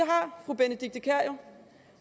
har fru benedikte kiær jo